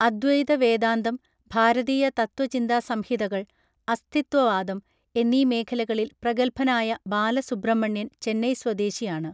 അദ്വൈത വേദാന്തം ഭാരതീയ തത്വചിന്താസംഹിതകൾ അസ്ഥിത്വവാദം എന്നീ മേഖലകളിൽ പ്രഗത്ഭനായ ബാലസുബ്രഹ്മണ്യൻ ചെന്നൈ സ്വദേശിയാണ്